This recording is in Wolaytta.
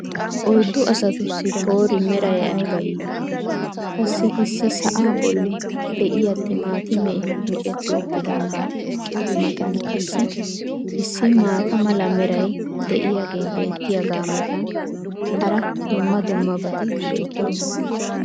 oyddu asatussi poori meray ayba iitii! Qassi issi sa"aa bolli diyaa timaatimee micetti uttidaagaa matan qassi issi maata mala meray diyaagee beetiyaagaa matan hara dumma dummabati beettoosona.